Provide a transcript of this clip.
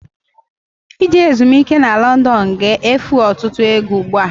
Ije ezumiike na London ga-efu ọtụtụ ego ugbu a.